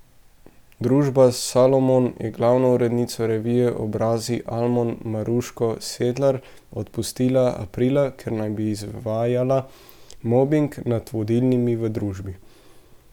Družba Salomon je glavno urednico revije Obrazi Almo Maruško Sedlar odpustila aprila, ker naj bi izvajala mobing nad vodilnimi v družbi.